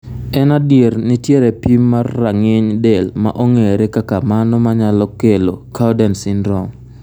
En adier nitiere pim mar rang'iny del ma ongere kaka mano manyalo kelo cowden syndrome.